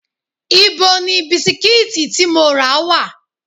Ibo ni bisikíìtì tí mo rà wà?